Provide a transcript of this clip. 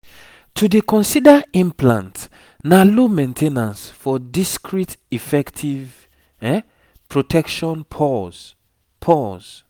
to dey consider implant na low main ten ance for discreet efective protection pause pause